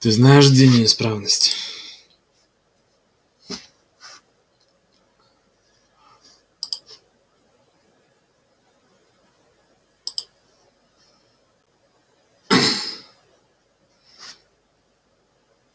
ты знаешь где неисправность